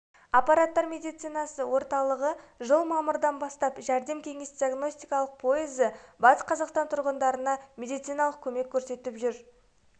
апаттар медицинасы орталығы жыл мамырдан бастап жәрдем кеңес диагностикалық пойызы батыс қазақстан тұрғындарына медициналық көмек көрсетіп жұр